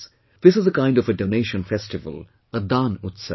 This is a kind of a 'Donation Festival', a Daan Utsav